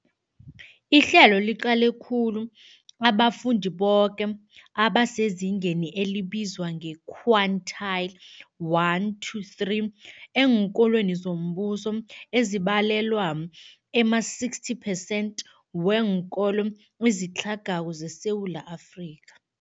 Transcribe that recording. Ihlelo liqale khulu abafundi boke abasezingeni elibizwa nge-quintile 1-3 eenkolweni zombuso, ezibalelwa ema-60 phesenthi weenkolo ezitlhagako zeSewula Afrika.